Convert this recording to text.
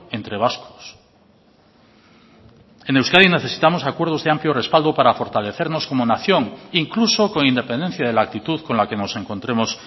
entre vascos en euskadi necesitamos acuerdos de amplio respaldo para fortalecernos como nación incluso con independencia de la actitud con la que nos encontremos